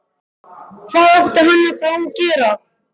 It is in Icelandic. Hvað átti hann þá að gera?